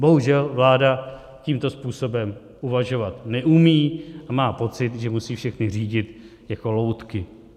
Bohužel vláda tímto způsobem uvažovat neumí a má pocit, že musí všechny řídit jako loutky.